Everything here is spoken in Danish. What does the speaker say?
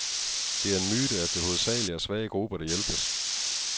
Det er en myte, at det hovedsageligt er svage grupper, der hjælpes.